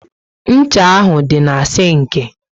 Ncha ahụ dị na sinki